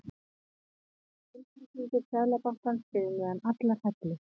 Málflutningur Seðlabankans fyrir neðan allar hellur